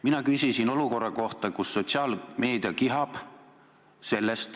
Mina küsisin olukorra kohta, millest sotsiaalmeedia kihab.